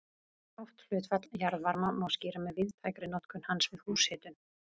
Hátt hlutfall jarðvarma má skýra með víðtækri notkun hans við húshitun.